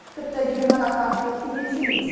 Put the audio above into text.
тіпті ер қанаты ат деп те ерекшелейміз